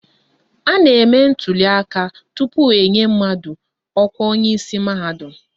A na-eme ntuliaka aka tupu enye mmadụ ọkwa onyeisi mahadum.